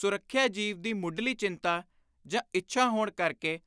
ਸੁਰੱਖਿਆ ਜੀਵ ਦੀ ਮੁੱਢਲੀ ਚਿੰਤਾ ਜਾਂ ਇੱਛਾ ਹੋਣ ਕਰਕੇ